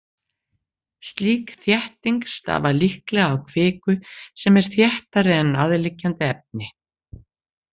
Slík þétting stafar líklega af kviku sem er þéttari en aðliggjandi efni.